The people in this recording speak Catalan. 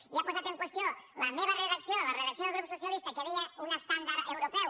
i ha posat en qüestió la meva redacció la redacció del grup socia·lista que deia un estàndard europeu